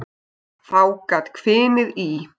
Þá gat hvinið í.